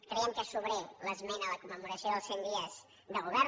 creiem que és sobrera l’esmena a la commemoració dels cent dies del govern